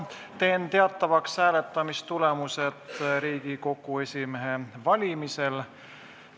Teen teatavaks hääletamistulemused Riigikogu esimehe valimisel.